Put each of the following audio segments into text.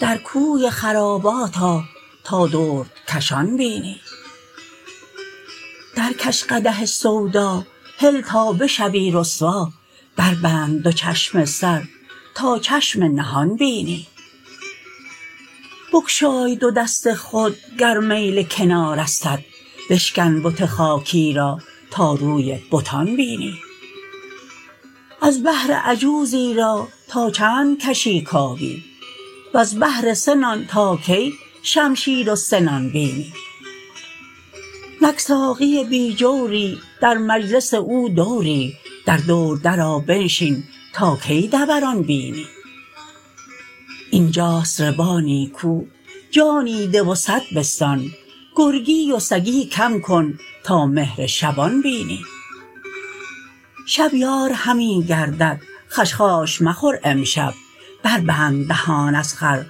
در کوی خرابات آ تا دردکشان بینی درکش قدح سودا هل تا بشوی رسوا بربند دو چشم سر تا چشم نهان بینی بگشای دو دست خود گر میل کنارستت بشکن بت خاکی را تا روی بتان بینی از بهر عجوزی را تا چند کشی کابین وز بهر سه نان تا کی شمشیر و سنان بینی نک ساقی بی جوری در مجلس او دوری در دور درآ بنشین تا کی دوران بینی این جاست ربا نیکو جانی ده و صد بستان گرگی و سگی کم کن تا مهر شبان بینی شب یار همی گردد خشخاش مخور امشب بربند دهان از خور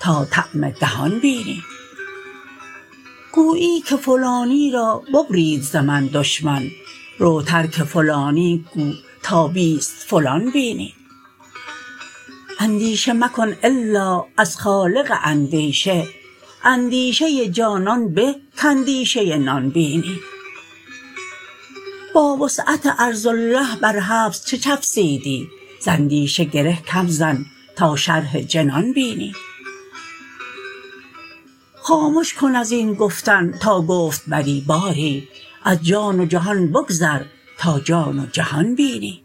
تا طعم دهان بینی گویی که فلانی را ببرید ز من دشمن رو ترک فلانی گو تا بیست فلان بینی اندیشه مکن الا از خالق اندیشه اندیشه جانان به کاندیشه نان بینی با وسعت ارض الله بر حبس چه چفسیدی ز اندیشه گره کم زن تا شرح جنان بینی خامش کن از این گفتن تا گفت بری باری از جان و جهان بگذر تا جان و جهان بینی